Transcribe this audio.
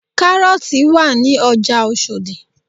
Kárọ́ọ̀tì wà ní ọjà Oṣòdì